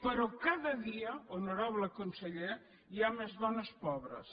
però cada dia honorable conseller hi ha més dones pobres